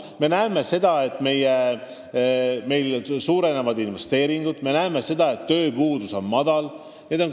Me näeme seda, et meil suurenevad investeeringud, me näeme seda, et tööpuudus on väike.